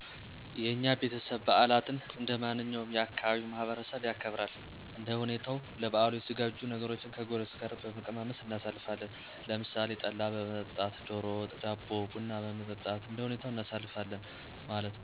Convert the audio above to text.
የኛ ቤተሰብ በዓላትን እንደማንኛውም የ ካባቢው ማህበረሰብ ያከብራል። እንደ ሁኔታዉ ለበዓሉ የተዘጋጁ ነገሮችን ከጎረቤት ጋር በመቀማመስ እናሣልፋለን። ለምሣሌ ጠላ በመጠጣት፣ ደሮ ወጥ፣ ዳቦ፣ ቡና በመጠጣት እንደሁኔታው እናሳልፋለን ማለት ነዉ።